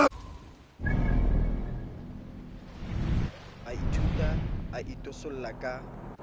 a ithutla a itosolla ka